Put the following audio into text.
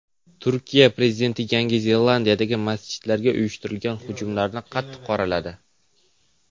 Turkiya prezidenti Yangi Zelandiyadagi masjidlarga uyushtirilgan hujumlarni qattiq qoraladi.